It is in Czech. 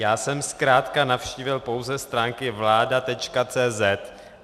Já jsem zkrátka navštívil pouze stránky vlada.cz